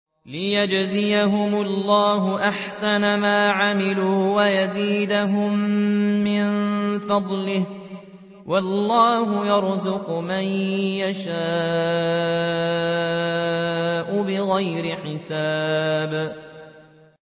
لِيَجْزِيَهُمُ اللَّهُ أَحْسَنَ مَا عَمِلُوا وَيَزِيدَهُم مِّن فَضْلِهِ ۗ وَاللَّهُ يَرْزُقُ مَن يَشَاءُ بِغَيْرِ حِسَابٍ